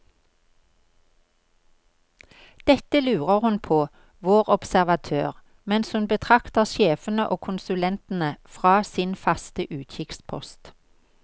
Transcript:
Dette lurer hun på, vår observatør, mens hun betrakter sjefene og konsulentene fra sin faste utkikkspost.